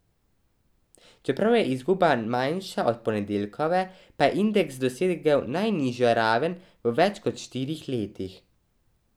Čeprav je izguba manjša od ponedeljkove, pa je indeks dosegel najnižjo raven v več kot štirih letih.